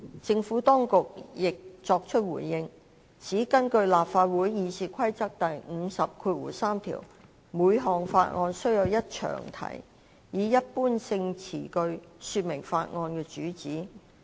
政府當局亦作出回應，指根據立法會《議事規則》第503條，每項法案須有一詳題，以一般性詞句說明該法案的主旨。